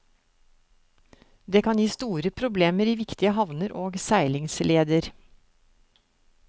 Det kan gi store problemer i viktige havner og seilingsleder.